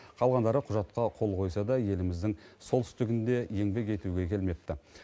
қалғандары құжатқа қол қойса да еліміздің солтүстігіне еңбек етуге келмепті